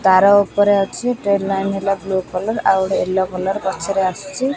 ତାର ଉପରେ ଅଛି ଟ୍ରେନ୍ ଲାଇନ ହେଲା ବ୍ଳୁ କଲର ଆଉ ଗୋଟେ ୟଲୋ କଲର ପଛରେ ଆସୁଚି।